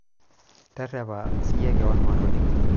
terrepa siyie keon maatoning'o